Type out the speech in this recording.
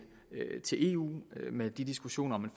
eu med diskussionerne